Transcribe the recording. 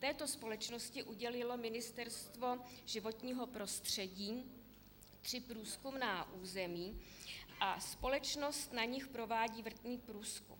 Této společnosti udělilo Ministerstvo životního prostředí tři průzkumná území a společnost na nich provádí vrtný průzkum.